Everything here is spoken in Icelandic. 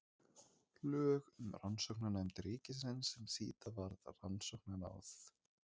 Lög um Rannsóknanefnd ríkisins sem síðar varð Rannsóknaráð.